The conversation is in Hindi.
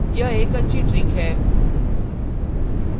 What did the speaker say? यह एक अच्छी trick है